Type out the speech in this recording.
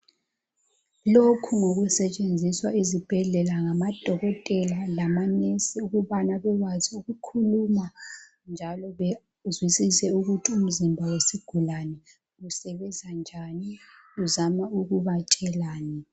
Lokhu ngokusetshenziswa ezibhedlela ngamadokotela labo mongikazi ukubana bebekwazi ukukhuluma njalo bezwisise ukuthi umzimba wesigulani usebenza njani uzama ukubatshelani